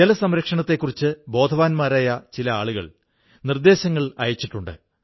ജലസംരക്ഷണത്തെക്കുറിച്ച് ബോധവാന്മാരായ ചില ആളുകൾ നിർദ്ദേശങ്ങളയച്ചിട്ടുണ്ട്